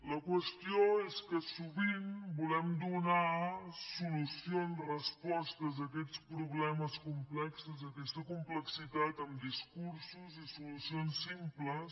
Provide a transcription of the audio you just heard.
la qüestió és que sovint volem donar solució amb respostes a aquests problemes complexos d’aquesta complexitat amb discursos i solucions simples